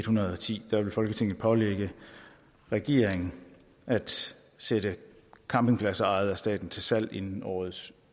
hundrede og ti vil folketinget pålægge regeringen at sætte campingpladser ejet af staten til salg inden årets